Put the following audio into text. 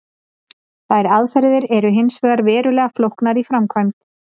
Þær aðferðir eru hins vegar verulega flóknar í framkvæmd.